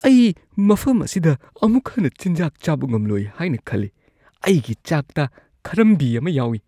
ꯑꯩ ꯃꯐꯝ ꯑꯁꯤꯗ ꯑꯃꯨꯛ ꯍꯟꯅ ꯆꯤꯟꯖꯥꯛ ꯆꯥꯕ ꯉꯝꯂꯣꯏ ꯍꯥꯏꯅ ꯈꯜꯂꯤ, ꯑꯩꯒꯤ ꯆꯥꯛꯇ ꯈꯔꯝꯕꯤ ꯑꯃ ꯌꯥꯎꯏ꯫